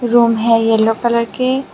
Room है yellow colour की।